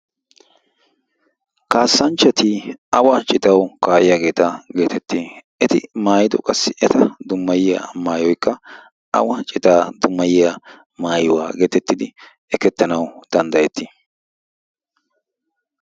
kaassanchchati awa citawu kaa7iyaageeta geetetti? eti maayido qassi eta dummayiya maayoikka awa citaa dummayiya maayuwaa geetettidi ekkettanawu danddayetti?